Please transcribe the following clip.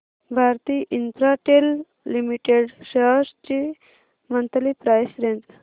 Bharti Infratel limited shares ची monthly price range